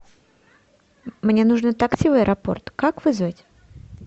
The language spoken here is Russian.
мне нужно такси в аэропорт как вызвать